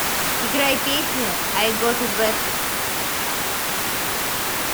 играй песню ай гот ит бэд